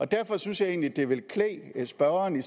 derfor synes jeg egentlig det ville klæde spørgeren